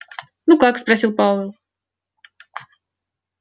ну как спросил пауэлл